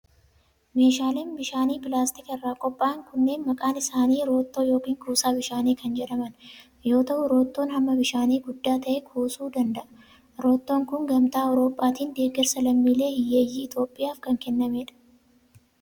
Meeshaaleen bishaanii pilaastika irraa qopha'an kunneen maqaan isaanii roottoo yokin kuusaa bishaanii kan jedhaman yoo ta'u, roottoon hamma bishaanii guddaa ta'e kuusuu danda'a. Roottoon kun, gamtaa awurooppaatin deeggarsa lammiilee hiyyeeyyii Itoophiyaaf kan kennamanii dha.